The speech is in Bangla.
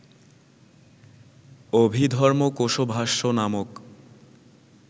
অভিধর্মকোশভাষ্য নামক